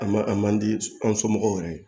A man a man di an somɔgɔw yɛrɛ ye